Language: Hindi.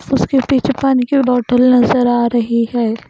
उसके पीछे पानी की बोटल नज़र आ रही है।